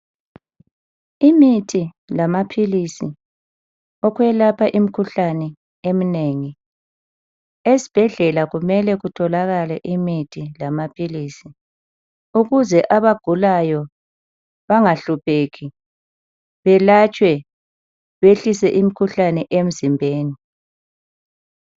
Imithi lama philisi okwelapha imkhuhlane emnengi, esibhedlela kumele kutholakale imithi lama philisi ukuze abagulayo bangahlupheki balatshwe behliswe imkhuhlane emzimbeni.